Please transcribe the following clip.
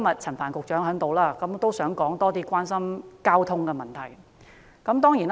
陳帆局長今天在席，我想趁機會多談市民關心的交通問題。